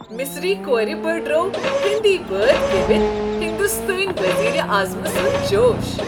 مصری كور بڈروو ہیندی بٲتھ گیٚوتھ ہنٛدوستٲنۍ وزیر اعظم سنٛد جوش ۔